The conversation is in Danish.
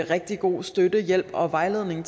rigtig god støtte hjælp og vejledning